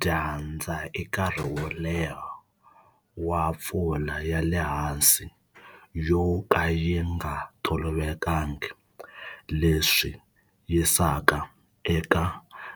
Dyandza i nkarhi wo leha wa pfula ya le hansi yo ka yi nga tolovelekangi leswi yisaka eka